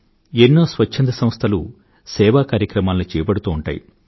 ఎన్నో స్వచ్ఛంద సంస్థలు సేవాకార్యక్రమాలను చేపడుతూ ఉంటాయి